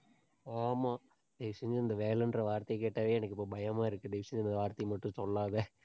ஆமா. தயவு செஞ்சு இந்த வேலைன்ற வார்த்தையை கேட்டாவே எனக்கு இப்ப பயமா இருக்கு. தயவு செஞ்சு இந்த வார்த்தையை மட்டும் சொல்லாதே.